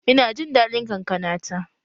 Ina jin daɗin kankana ta.